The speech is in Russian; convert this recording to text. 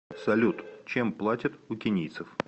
салют чем платят у кенийцев